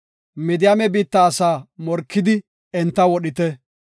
“Midiyaame biitta asaa morkidi enta wodhite.